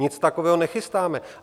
Nic takového nechystáme.